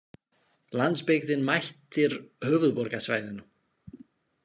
Landsbyggðin mætir höfuðborgarsvæðinu